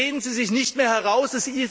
Reden Sie sich nicht mehr heraus!